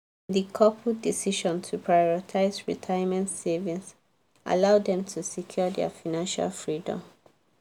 di couple decision to prioritize retirement savings allow dem to secure their financial freedom.